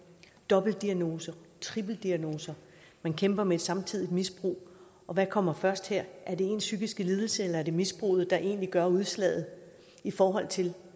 dobbeltdiagnoser triplediagnoser man kæmper med og samtidig et misbrug og hvad kommer først her er det ens psykiske lidelse eller er det misbruget der egentlig gør udslaget i forhold til